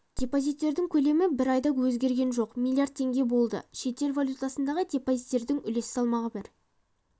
депозиттердің көлемі бір айда өзгерген жоқ млрд теңге болды шетел валютасындағы депозиттердің үлес салмағы бір